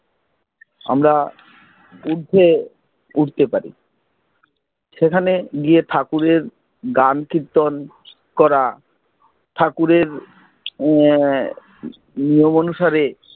আমরা উঠতে পারি সেখানে গিয়ে ঠাকুরের গান কীর্তন করা ঠাকুরের, এর নিয়ম অনুসারে